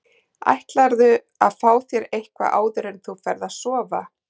Ætlarðu að fá þér eitthvað áður en þú ferð að sofa?